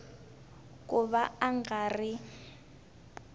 ku va a nga ri